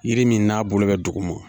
Yiri min n'a bolo bɛ dugu ma